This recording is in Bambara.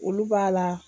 Olu b'a la